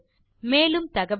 மேலும் தகவல்களுக்கு